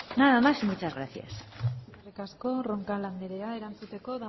nada más y muchas gracias eskerrik asko roncal andrea erantzuteko